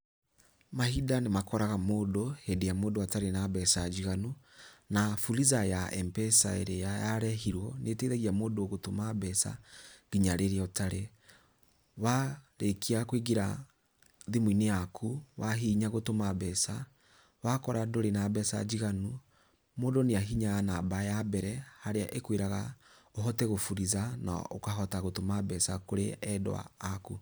Mahinda nĩ makoraga mũndũ hĩndĩ ĩrĩa mũndũ atarĩ na mbeca njiganu, na Fuliza ya M-pesa ĩrĩa yarehirwo, nĩ ĩteithagia mũndũ gũtũma mbeca nginya rĩrĩa ũtarĩ. Warĩkia kũingĩra thimũ-inĩ yaku, wahihinya gũtũma mbeca, wakora ndũrĩ na mbeca njiganu, mũndũ nĩ ahihinyaga namba ya mbere, harĩa ĩkwĩraga ũhote kũ-Fuliza, na ũkahota gũtũma mbeca kũrĩ endwa aku.